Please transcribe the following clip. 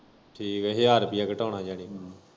ਠੀਕ ਐ ਹਜਾਰ ਰੁਪਏ ਘਟਾਨੇ ਜਾਨੀ ਕਿ?